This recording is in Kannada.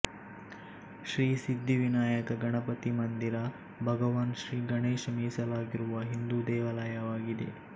ಶ್ರೀ ಸಿದ್ಧಿ ವಿನಾಯಕ ಗಣಪತಿ ಮಂದಿರ ಭಗವಾನ್ ಶ್ರೀ ಗಣೇಶ್ ಮೀಸಲಾಗಿರುವ ಹಿಂದೂ ದೇವಾಲಯವಾಗಿದೆ